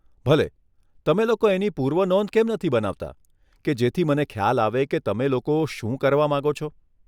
ભલે, તમે લોકો એની પૂર્વનોંધ કેમ નથી બનાવતાં કે જેથી મને ખ્યાલ આવે કે તમે લોકો શું કરવા માંગો છો.